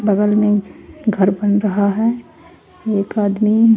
बगल में घर बन रहा है एक आदमी--